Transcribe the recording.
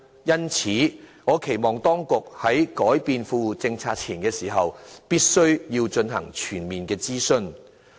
因此，我期望當局在更改富戶政策前，必須進行全面諮詢。